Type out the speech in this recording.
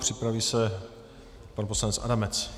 Připraví se pan poslanec Adamec.